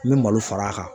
N bɛ malo fara a kan